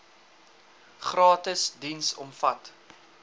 gratis diens omvat